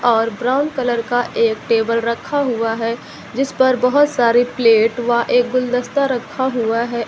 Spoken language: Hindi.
और ब्राउन कलर का एक टेबल रखा हुआ है जिस पर बहोत सारे प्लेट व एक गुलदस्ता रखा हुआ है।